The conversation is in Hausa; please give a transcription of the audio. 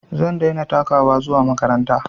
Zan daina takawa zuwa makaranta